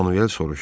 Manuel soruşdu.